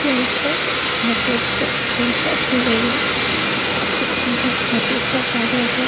यहाँ पर बहुत ही अच्छे व्यवस्था की गयी है बहुत ही सुंदर बहुत ही अच्छा पार्लर है।